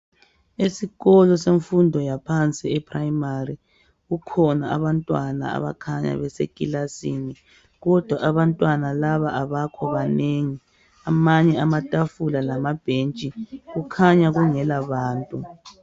Esikolo semfundo yaphansi e primary, kukhona abantwana abakhanya besikilasini, kodwa abantwana laba abakho banengi, amanye amatafula lamabhentshi kukhanya kungelabantu.